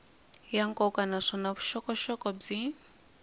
ya nkoka naswona vuxokoxoko byi